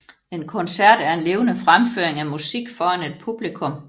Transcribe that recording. En koncert er en levende fremføring af musik foran et publikum